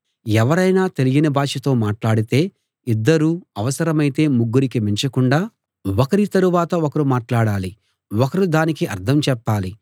ఎవరైనా తెలియని భాషతో మాట్లాడితే ఇద్దరు అవసరమైతే ముగ్గురికి మించకుండా ఒకరి తరువాత ఒకరు మాట్లాడాలి ఒకరు దానికి అర్థం చెప్పాలి